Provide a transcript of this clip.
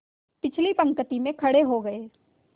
पिछली पंक्ति में खड़े हो गए